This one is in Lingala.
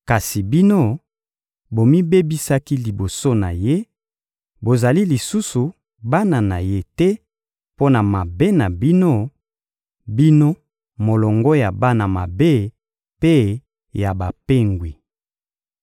Kasi bino, bomibebisaki liboso na Ye; bozali lisusu bana na Ye te, mpo na mabe na bino, bino molongo ya bana mabe mpe ya bapengwi.